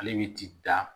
Ale bɛ ti da